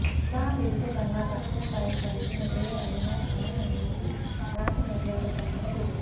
షా బిరుదు కన్నా తక్కువ స్థాయి కలిగినదే అయినా ఖాన్ అనేది రాచ మర్యాద కలిగిన బిరుదు